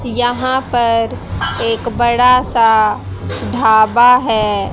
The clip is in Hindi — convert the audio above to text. यहां पर एक बड़ा सा ढाबा है।